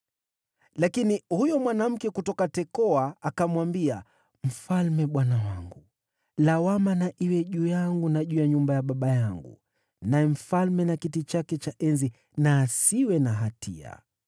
Lakini huyo mwanamke kutoka Tekoa akamwambia, “Mfalme bwana wangu, lawama na iwe juu yangu na juu ya nyumba ya baba yangu, naye mfalme na kiti chake cha enzi na asiwe na hatia.”